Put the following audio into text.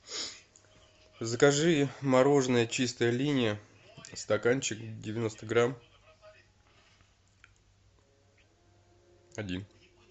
закажи мороженое чистая линия стаканчик девяносто грамм один